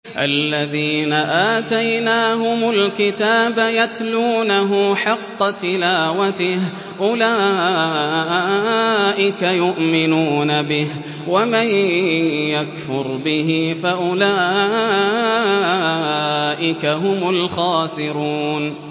الَّذِينَ آتَيْنَاهُمُ الْكِتَابَ يَتْلُونَهُ حَقَّ تِلَاوَتِهِ أُولَٰئِكَ يُؤْمِنُونَ بِهِ ۗ وَمَن يَكْفُرْ بِهِ فَأُولَٰئِكَ هُمُ الْخَاسِرُونَ